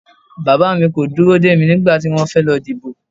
Bàbá mi kò dúró dè mí nígbà tí wọ́n fẹ́ lọ dìbò